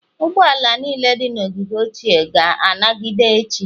Ụgbọ ala niile dị na ogige ochie ga-anagide echi.